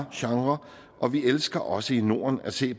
genre og vi elsker også i norden at se